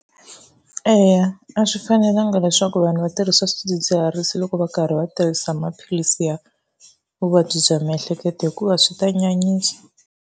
Eya, a swi fanelanga leswaku vanhu va tirhisa swidzidziharisi loko va karhi va tirhisa maphilisi ya vuvabyi bya miehleketo hikuva swi ta nyanyisa.